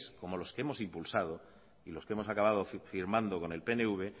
como los que hemos impulsado y los que hemos acabado firmando con el pnv